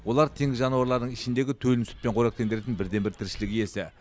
олар теңіз жануарларының ішіндегі төлін сүтпен қоректендіретін бірден бір тіршілік иесі